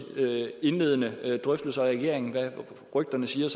indledende drøftelser i regeringen efter hvad rygterne siger er